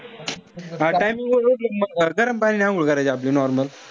Timing उठलं तर गरम पाण्याने अंघोळ करायची आपली normal.